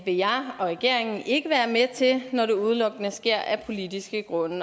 vil jeg og regeringen ikke være med til når det udelukkende sker af politiske grunde